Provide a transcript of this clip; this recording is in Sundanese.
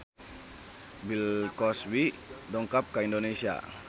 Bill Cosby dongkap ka Indonesia